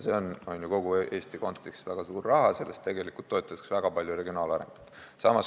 See on kogu Eesti kontekstis väga suur raha, sellest tegelikult toetatakse väga palju regionaalarengut.